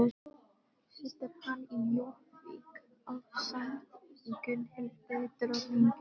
Situr hann í Jórvík ásamt Gunnhildi drottningu sinni.